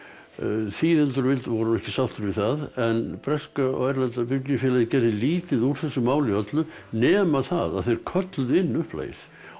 þýðendur voru nú ekki sáttir við það en breska og erlenda biblíufélagið gerði lítið úr þessu máli öllu nema það að þeir kölluðu inn upplagið og